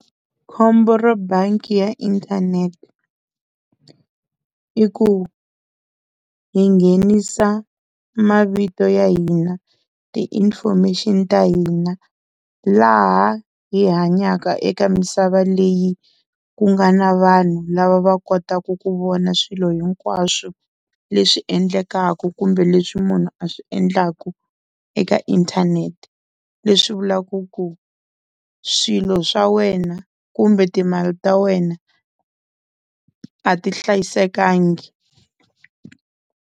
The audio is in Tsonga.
Khombo ro bangi ya inthanete i ku hi nghenisa mavito ya hina ti-information-i ta hina laha hi hanyaka eka misava leyi ku nga na vanhu lava va kotaka ku vona swilo hinkwaswo leswi endlekaka kumbe leswi munhu a swi endlaku eka inthanete, leswi vulaka ku swilo swa wena kumbe timali ta wena a ti hlayisekanga.